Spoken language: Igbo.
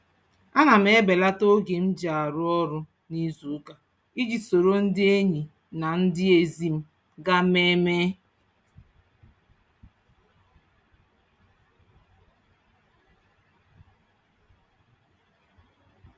Ana m ebelata oge m ji arụ ọrụ n'izuụka iji soro ndị enyi na ndị ezi m gaa mmemme.